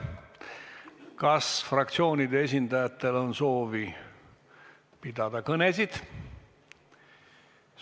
Kas fraktsioonide esindajatel on soovi pidada kõnesid?